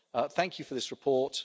Thank you for this report.